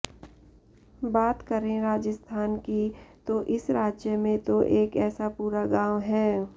बात करें राजस्थान की तो इस राज्य में तो एक ऐसा पुरा गांव है